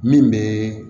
Min bɛ